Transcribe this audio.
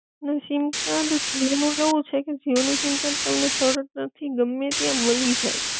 sim card Jio નું એવું છે કે જીઓ નું સીમકાર્ડ તમને સરળતા થી ગમે ત્યાં મળી જાય